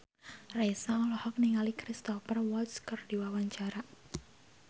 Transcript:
Raisa olohok ningali Cristhoper Waltz keur diwawancara